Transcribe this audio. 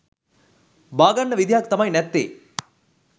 බාගන්න විදිහක් තමයි නැත්තේ